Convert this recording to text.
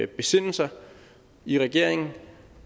besinde sig i regeringen